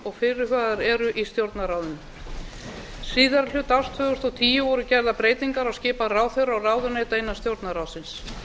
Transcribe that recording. og fyrirhugaðar eru í stjórnarráðinu síðari hluta árs tvö þúsund og tíu voru gerðar breytingar á skipan ráðherra og ráðuneyta innan stjórnarráðsins